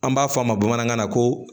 An b'a fɔ a ma bamanankan na ko